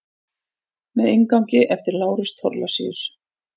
Með inngangi eftir Lárus Thorlacius.